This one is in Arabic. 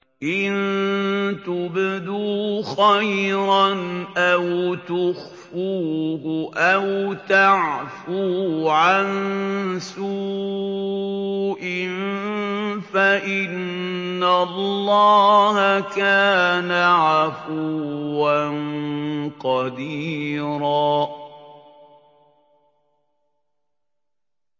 إِن تُبْدُوا خَيْرًا أَوْ تُخْفُوهُ أَوْ تَعْفُوا عَن سُوءٍ فَإِنَّ اللَّهَ كَانَ عَفُوًّا قَدِيرًا